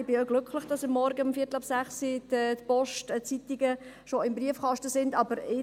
Ich bin glücklich, dass die Post die Zeitungen schon um halb sechs morgens in den Briefkasten legt.